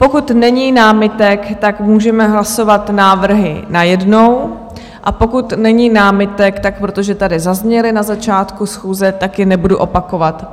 Pokud není námitek, tak můžeme hlasovat návrhy najednou, a pokud není námitek, tak protože tady zazněly na začátku schůze, tak je nebudu opakovat.